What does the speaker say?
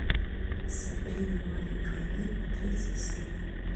сабрина маленькая ведьма третья серия